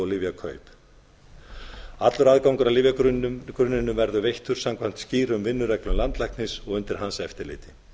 lyfjakaup allur ágangur að lyfjagrunninum verða veittur samkvæmt skýrum vinnureglum landlæknis og undir hans eftirliti